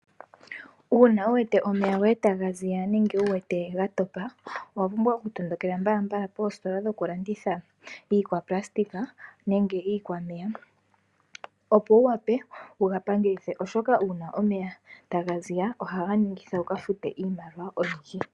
Uuna wuwete omeya goye taga ziya nenge wuwete gatopa owa pumbwa okutondokela mbala mbala koositola dhokulanditha iikwanayilona nenge iikwameya, opo wuwape wugapangelithe oshoka uuna omeya taga ziya ohaga ningitha wuka fute iimaliwa oyindji.